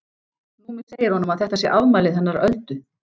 Númi segir honum að þetta sé afmælið hennar Öldu.